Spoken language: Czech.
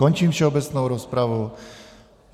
Končím všeobecnou rozpravu.